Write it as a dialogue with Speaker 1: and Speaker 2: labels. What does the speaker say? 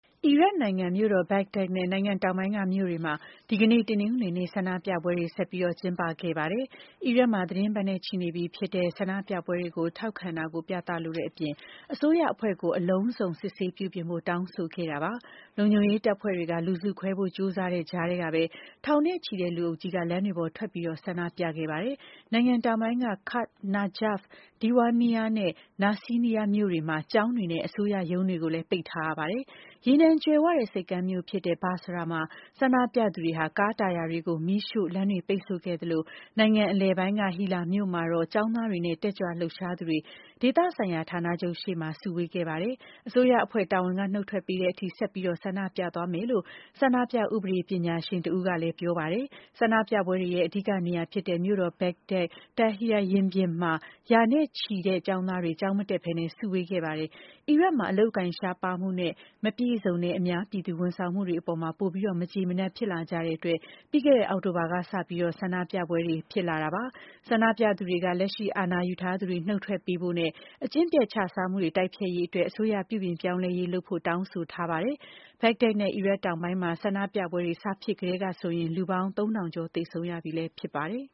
Speaker 1: အီရတ်နိုင်ငံ မြို့တော် ဘဂ္ဂဒက်နဲ့ နိုင်ငံတောင်ပိုင်းက မြို့တွေမှာ ဒီကနေ့ တနင်္ဂနွေနေ့ ဆန္ဒပြပွဲတွေ ကျင်းပခဲ့ကြပါတယ်။ အီရတ်မှာ သီတင်းပတ်နဲ့ ချီနေပြီဖြစ်တဲ့ ဆန္ဒပြပွဲတွေကို ထောက်ခံတာကို ပြသလိုတဲ့အပြင် အစိုးရအဖွဲ့ကို အလုံးစုံစစ်ဆေးပြုပြင်ဖို့ တောင်းဆိုခဲ့ကြတာပါ။ လုံခြုံရေးတပ်ဖွဲ့တွေက လူစုခွဲဖို့ ကြိုးစားတဲ့ကြားကပဲ ထောင်နဲ့ချီတဲ့ လူအုပ်ကြီးက လမ်းတွေပေါ်ထွက်ပြီး ဆန္ဒပြခဲ့ကြပါတယ်။ နိုင်ငံတောင်ပိုင်းက Kut, Najaf, Diwaniyah နဲ့ Nasiriyah မြို့တွေမှာ ကျောင်းတွေနဲ့ အစိုးရရုံးတွေကို ပိတ်ထားရပါတယ်။ ရေနံကြွယ်ဝတဲ့ ဆိပ်ကမ်းမြို့ဖြစ်တဲ့ Basra မှာ ဆန္ဒပြသူတွေက ကားတာယာတွေမီးရှို့ပြီး လမ်းတွေ ပိတ်ဆို့ခဲ့သလို နိုင်ငံအလယ်ပိုင်း Hillah မြို့မှာတော့ ကျောင်းသားတွေနဲ့ တက်ကြွလှုပ်ရှားသူတွေ ဒေသဆိုင်ရာ ဌာနချုပ်ရှေ့မှာ စုဝေးခဲ့ကြပါတယ်။ အစိုးရအဖွဲ့ တာဝန်က နုတ်ထွက်ပေးတဲ့အထိ ဆက်ပြီး ဆန္ဒပြသွားမယ်လို့ ဆန္ဒပြ ဥပဒေပညာရှင် Hassaan al-Tufan က ပြောပါတယ်။ ဆန္ဒပြပွဲတွေရဲ့ အဓိကနေရာဖြစ်တဲ့ မြို့တော် ဘဂ္ဂဒက် Tahrir ရင်ပြင်မှာ ရာနဲ့ချီတဲ့ ကျောင်းသားတွေ ကျောင်းမတက်ဘဲ စုဝေးခဲ့ကြပါတယ်။ အီရတ်မှာ အလုပ်အကိုင် ရှားပါးမှုနဲ့ မပြည့်စုံတဲ့ အများပြည်သူ ဝန်ဆောင်မှုတွေအပေါ် ပိုပြီး မကျေမနပ် ဖြစ်လာကြတဲ့အတွက် ပြီးခဲ့တဲ့ အောက်တိုဘာလကစပြီး ဆန္ဒပြပွဲတွေ ဖြစ်လာတာပါ။ ဆန္ဒပြသူတွေက လက်ရှိ အာဏာယူထားသူတွေ နုတ်ထွက်ပေးဖို့နဲ့ အကျင့်ပျက်ခြစားမှု တိုက်ဖျက်ရေးအတွက် အစိုးရ ပြုပြင်ပြောင်းလဲရေးလုပ်ဖို့ တောင်းဆိုထားကြပါတယ်။ ဘဂ္ဂဒက်နဲ့ အီရတ်တောင်ပိုင်းမှာ ဆန္ဒပြပွဲတွေ စဖြစ်ခဲ့ကတည်းကဆိုရင် လူပေါင်း ၃၀၀ ကျော် သေဆုံးရပြီလည်း ဖြစ်ပါတယ်